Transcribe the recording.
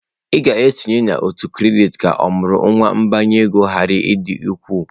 Ị ga-esonye n'òtù kredit ka ọmụrụ nwa mbinye ego ghara ịdị ukwuu.